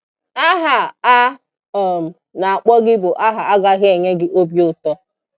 Aha a um na-akpọ gị bụ aha agaghị enye gị obi ụtọ.